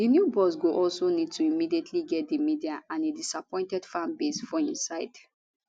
di new boss go also need to immediately get di media and a disappointed fanbase for im side